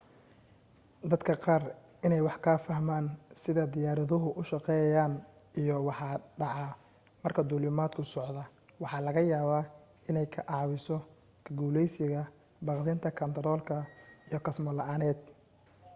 dadka qaar inay wax ka fahmaan sida diyaaraduhu u shaqeeyaan iyo waxa dhaca marka duulimaadku socdo waxa laga yaabaa inay ka caawiso ka guulaysiga baqdinta kaantarool iyo kasmo la'aaneed